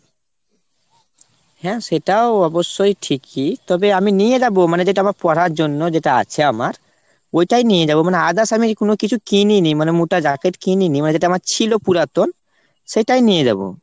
হ্যাঁ সেটাও অবশ্যই ঠিকই। তবে আমি নিয়ে যাবো মানে যেটা আমার পরার জন্য মানে যেটা আছে আমার। ওইটাই নিয়ে যাবো মানে others আমি কোনো কিছু কিনি নি মানে মোটা jacket কিনি নি। মানে যেটা আমার ছিল পুরাতন সেটাই নিয়ে যাবো।